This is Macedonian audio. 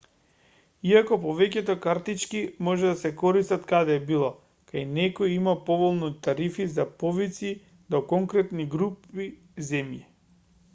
иако повеќето картички може да се користат каде било кај некои има поволни тарифи за повици до конкретни групи земји